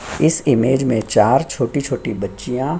इस इमेज में चार छोटी-छोटी बच्चियां --